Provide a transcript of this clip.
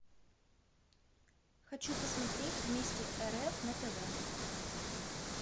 хочу посмотреть вместе рф на тв